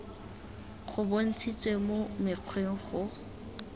go bontshitswe mo mokgweng go